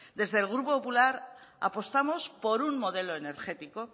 desde el grupo popular apostamos por un modelo energético